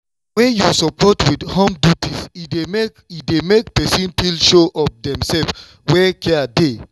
wen you support with home duties e dey make e dey make person feel sure of demself where care dey.